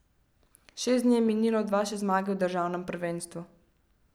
Šest dni je minilo od vaše zmage v državnem prvenstvu.